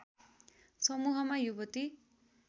समूहमा युवती